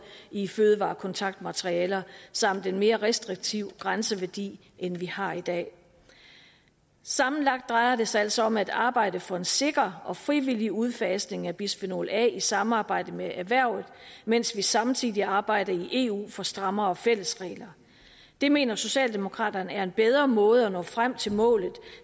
i fødevarekontaktmaterialer samt en mere restriktiv grænseværdi end vi har i dag sammenlagt drejer det sig altså om at arbejde for en sikker og frivillig udfasning af bisfenol a i samarbejde med erhvervet mens vi samtidig arbejder i eu for strammere fælles regler det mener socialdemokraterne er en bedre måde at nå frem til målet